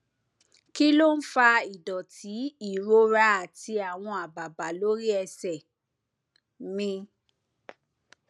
kí ló ń fa ìdòtí ìrora àti àwọn àbàbà lórí ẹsè mi